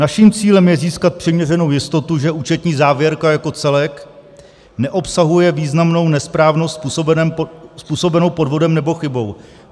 "Naším cílem je získat přiměřenou jistotu, že účetní závěrka jako celek neobsahuje významnou nesprávnou způsobenou podvodem nebo chybou."